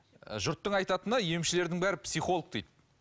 жұрттың айтатыны емшілердің бәрі психолог дейді